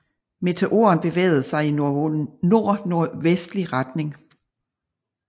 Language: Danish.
Meteoren bevægede sig i nordnordvestlig retning